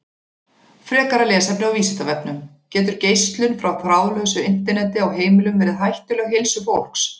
Frekara lesefni á Vísindavefnum: Getur geislun frá þráðlausu Interneti á heimilum verið hættuleg heilsu fólks?